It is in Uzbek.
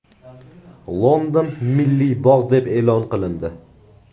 London milliy bog‘ deb e’lon qilindi.